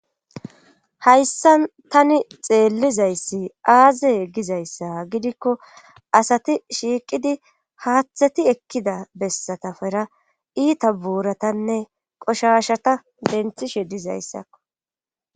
Hayssa tani xeellizayssi aaze egizayssa gidikko asati shiiqidi haaththati ekkida bessatafera iita buuratanne qoshashata benthishe dizayssakko.